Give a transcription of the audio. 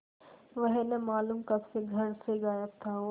वह न मालूम कब से घर से गायब था और